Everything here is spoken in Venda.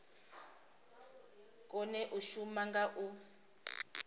kone u shuma nga u